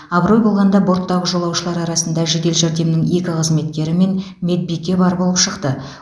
абырой болғанада борттағы жолаушылар арасында жедел жәрдемнің екі қызметкері мен медбике бар болып шықты